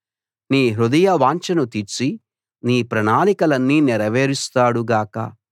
నీ హృదయవాంఛను తీర్చి నీ ప్రణాళికలన్నీ నెరవేరుస్తాడు గాక